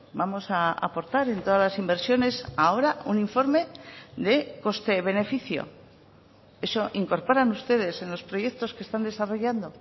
vamos a aportar en todas las inversiones ahora un informe de coste beneficio eso incorporan ustedes en los proyectos que están desarrollando